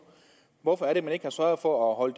hvorfor er det at man ikke har sørget for at